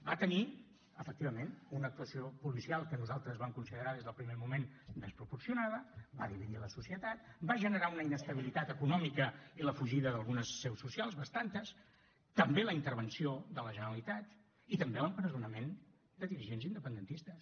va tenir efectivament una actuació policial que nosaltres vam considerar des del primer moment desproporcionada va dividir la societat va generar una inestabilitat econòmica i la fugida d’algunes seus socials bastantes també la intervenció de la generalitat i també l’empresonament de dirigents independentistes